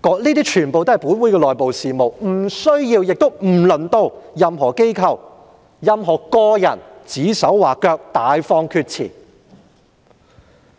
屬於本會的內部事務，無需亦輪不到任何機構或個人指手劃腳，大放厥詞。